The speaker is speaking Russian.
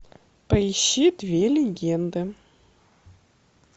поищи две легенды